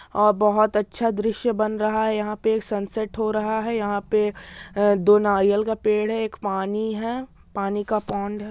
और बहुत अच्छा दृश्य बन रहा है यहां पे एक सनसेट हो रहा है यहां पे दो नारियल का पेड़ है एक पानी है पानी का पोंड है।